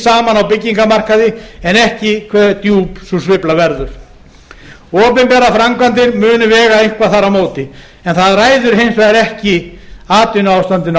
saman á byggingamarkaði en ekki hve djúp sú sveifla verður opinberar framkvæmdir vega eitthvað þar á móti en það ræður hins vegar ekki atvinnuástandinu